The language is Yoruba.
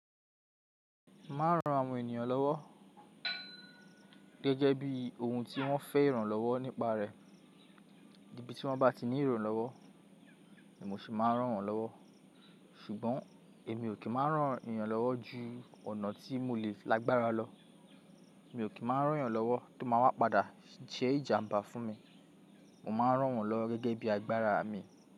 Má n rán àwọn ènìyàn lọ́wọ́ gẹ́gẹ́ bí ohun tí wọ́n fẹ́ ìrànlọ́wọ́ nípa rẹ̀. Ibi tí wọ́n bá ti ní ìrànlọ́wọ́, èmi o sì máa rán wọ́n lọ́wọ́. Ṣùgbọ́n èmi ò kí máa rán ènìyàn lọ́wọ́ ju ọ̀nà tí mo lè lágbára lọ. Èmi ò kí máa rán ènìyàn lọ́wọ́ tó máa wá padà jẹ́ ìjàmbá fún mi. Mo máa rán wọ́n lọ gẹ́gẹ́ bí agbára mi.